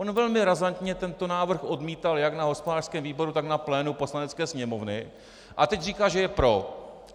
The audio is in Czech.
On velmi razantně tento návrh odmítal jak na hospodářském výboru, tak na plénu Poslanecké sněmovny, a teď říká, že je pro.